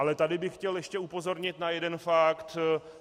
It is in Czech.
Ale tady bych chtěl ještě upozornit na jeden fakt.